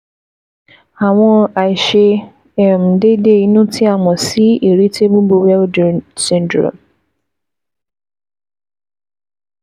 Àwọn àìṣe um déédé inú tí a mọ̀ sí Irritable bowel syndrome